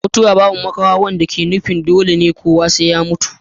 mutuwa babu makawa wanda ke nufin dole ne kowa sai ya mutu mutu